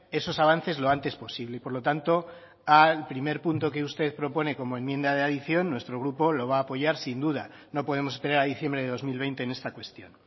esos avances lo antes posible y por lo tanto al primer punto que usted propone como enmienda de adición nuestro grupo lo va a apoyar sin duda no podemos esperar a diciembre de dos mil veinte en esta cuestión